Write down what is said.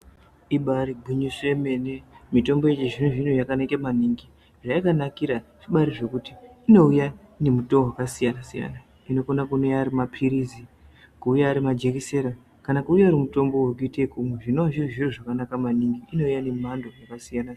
Ibaari gwinyiso yemene mitombo yechizvino zvino yakabaanaka maningi, zvakanakira ngezvekuti inouya nemitoo yakasiyana siyana inokona kuuya ari mapilizi ,kuuya arimajekisera kana kuuya iri mitombo yekuita ekumwa zvinova zviri zviro zvakanaka maningi inoya ngemhando dzaka siyaba-siyana.